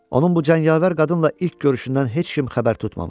Onun bu cəngavər qadınla ilk görüşündən heç kim xəbər tutmamışdı.